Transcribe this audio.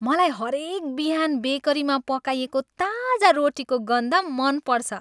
मलाई हरेक बिहान बेकरीमा पकाइएको ताजा रोटीको गन्ध मन पर्छ।